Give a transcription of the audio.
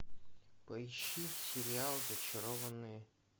поищи сериал зачарованные